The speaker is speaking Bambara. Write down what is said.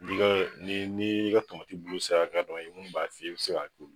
ni ni ni ka bulu sa ka dɔn ye, mun b'a i bi se ka